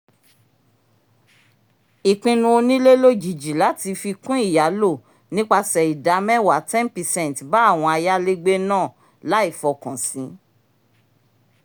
ìpinnu onílé lójijì lati fi kun ìyálò nípasẹ̀ ìdá mẹ́wàá ten percent bá àwọn ayalégbe náà láì f'ọkàn si